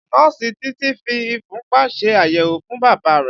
Nọ́ọ̀sì Titi fi ìfúnpá ṣe àyẹ̀wò fún Bàbá rẹ̀